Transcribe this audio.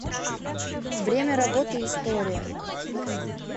время работы история